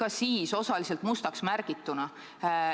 Ja see tuli lõpuks osaliselt mustaks märgituna.